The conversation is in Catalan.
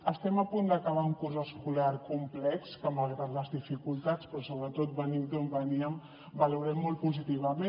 estem a punt d’acabar un curs escolar complex que malgrat les dificultats però sobretot venint d’on veníem valorem molt positivament